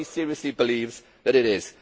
Nobody seriously believes that it is.